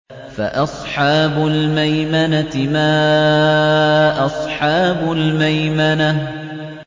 فَأَصْحَابُ الْمَيْمَنَةِ مَا أَصْحَابُ الْمَيْمَنَةِ